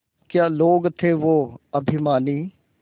क्या लोग थे वो अभिमानी